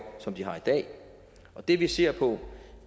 som de har i dag og det vi ser på